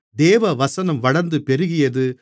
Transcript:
தேவவசனம் வளர்ந்து பெருகியது